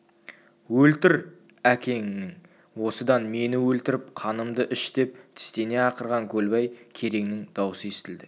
өлтір әкеңнің осыдан мені өлтіріп қанымды іш деп тістене ақырған көлбай кереңнің даусы естілді